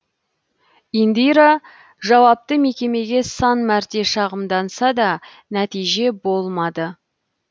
индира жауапты мекемеге сан мәрте шағымданса да нәтиже болмады